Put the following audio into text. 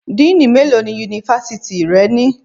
Díínì mélòó ni Yunifásítì rẹ ní?